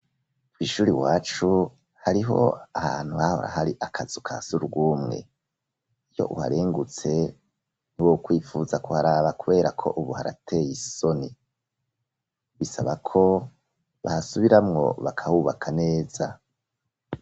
Kw'ishure iwacu hariho ahantu hahora hari akazu kasugumwe iyo uharengutse ntiwokwifuza kuharaba kubera ko ubu harateye isoni bisaba ko bahasubiramwo bakahubaka neza.